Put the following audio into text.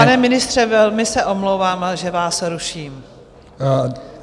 Pane ministře, velmi se omlouvám, že vás ruším.